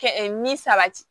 Kɛ ni sabati